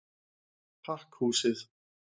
Pakkhúsið